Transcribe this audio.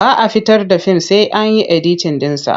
Ba a fitar da fim sai an yi editin ɗinsa.